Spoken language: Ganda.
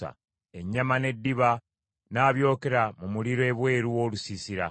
Ennyama n’eddiba n’abyokera mu muliro ebweru w’olusiisira.